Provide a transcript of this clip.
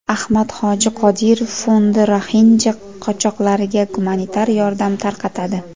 Ahmad hoji Qodirov fondi roxinja qochoqlariga gumanitar yordam tarqatadi.